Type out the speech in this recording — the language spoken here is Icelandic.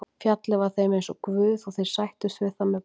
Fjallið var þeim eins og guð og þeir sættust við það með bænum.